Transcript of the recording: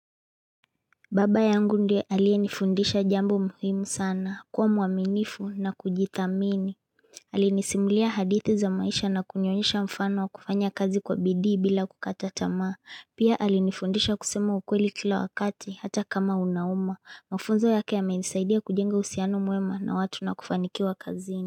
Baba yangu ndiye aliye nifundisha jambo muhimu sana, kuwa muaminifu na kujithamini. Alinisimulia hadithi za maisha na kunionyesha mfano wa kufanya kazi kwa bidhii bila kukata tamaa. Pia alinifundisha kusema ukweli kila wakati hata kama unauma. Mufunzo yake ya menisaidia kujenga uhusiano mwema na watu na kufanikiwa kazini.